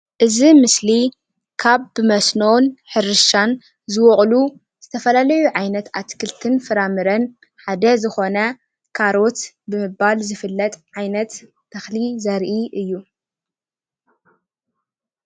እዚ ምስሊ ካብ ብመስኖን ሕርሻ ዝበቕሉ ዝተፈላለዩ ዓይነት አትክልቲ ፍረምረን ሓደ ዝኾነ ካሮት ብምባል ዝፈለጥ ዓይነት ተኽሊ ዘርኢ እዩ፡፡